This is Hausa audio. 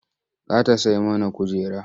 Za ta sai mana kujera.